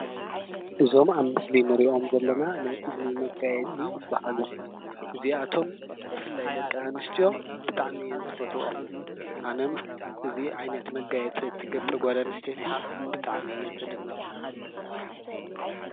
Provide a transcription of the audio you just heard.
እዞም ኣብ ምስሊ እንሪኦም ዘለና ናይ እዝኒ መጋየፂ በዓሎም እዚኣቶም ብፍላይ ደቂ ኣንስትዮ ብጣዕሚ እየን ዝፈትወኦም፡፡ ኣነ እውን እዚ ዓይነት መጋየፂ እትገብር ጓል ኣንስተይቲ ብጣዕሚ እየ ዝድነቕ፡፡